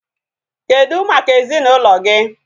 Kedụ maka ezinaụlọ gị?